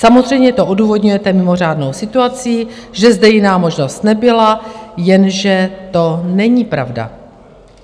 Samozřejmě to odůvodňujete mimořádnou situací, že zde jiná možnost nebyla, jenže to není pravda.